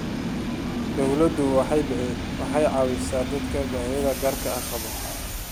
Dawladdu waxay caawisaa dadka baahiyaha gaarka ah qaba.